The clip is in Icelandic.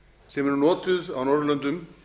sem eru notuð á norðurlöndum